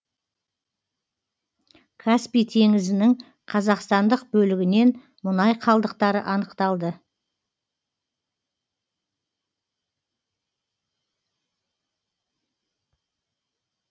каспий теңізінің қазақстандық бөлігінен мұнай қалдықтары анықталды